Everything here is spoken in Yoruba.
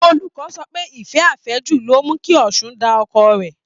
Olùkọ́ sọ pé ìfẹ́ àfẹ́jù loh mu kí Ọ̀ṣun da ọkọ rẹ̀